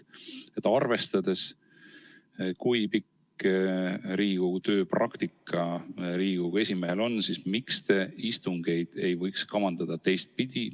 Arvestades, kui pikk Riigikogu töö praktika Riigikogu esimehel on, on minu küsimus jätkuvalt, miks te istungeid ei võiks kavandada teistpidi.